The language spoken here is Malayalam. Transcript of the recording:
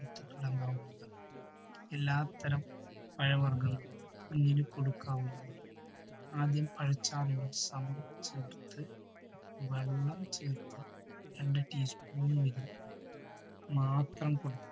എല്ലാത്തരം പഴവർഗങ്ങളും കുഞ്ഞിന് കൊടുക്കാവുന്നതാണ്. ആദ്യം പഴച്ചാറിനു സമം ചേർത്ത് വെള്ളം ചേർത്ത് രണ്ടു teaspoon വീതം മാത്രം കൊടുക്കാം.